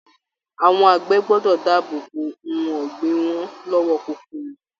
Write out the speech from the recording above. Àwọn àgbẹ̀ gbọ́dọ̀ dáàbò bo ohun ọ̀gbìn wọn lọ́wọ́ kòkòrò.